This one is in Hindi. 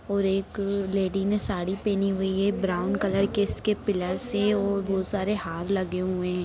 और एक लेडिस ने साड़ी पहनी हुई है ब्राउन कलर के इसकी पिलर्स हैं और बहुत सारे हार लगे हुए हैं।